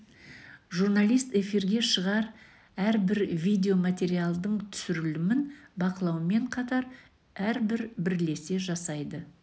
журналист эфирге шығар әрбір видео материалдың түсірілімін бақылаумен қатар ірбір бірлесе жасайды